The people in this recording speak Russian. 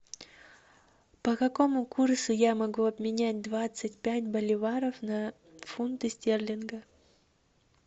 по какому курсу я могу обменять двадцать пять боливаров на фунты стерлинги